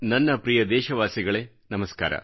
ನನ್ನ ಪ್ರಿಯ ದೇಶವಾಸಿಗಳೇ ನಮಸ್ಕಾರ